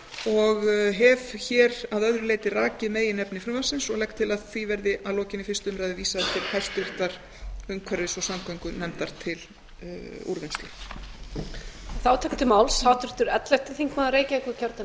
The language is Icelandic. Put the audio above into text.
og hef að öðru leyti rakið meginefni frumvarpsins og legg til að því verði að lokinni fyrstu umræðu vísað til háttvirtrar umhverfis og samgöngunefndar til úrvinnslu